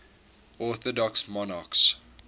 orthodox monarchs